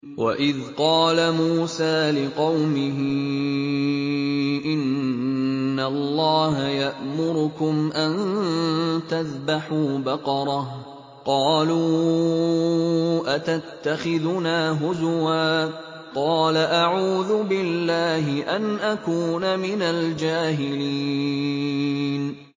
وَإِذْ قَالَ مُوسَىٰ لِقَوْمِهِ إِنَّ اللَّهَ يَأْمُرُكُمْ أَن تَذْبَحُوا بَقَرَةً ۖ قَالُوا أَتَتَّخِذُنَا هُزُوًا ۖ قَالَ أَعُوذُ بِاللَّهِ أَنْ أَكُونَ مِنَ الْجَاهِلِينَ